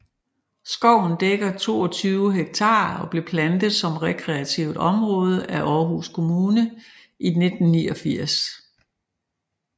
Skoven dækker 22 hektar og blev plantet som rekreativt område af Aarhus Kommune i 1989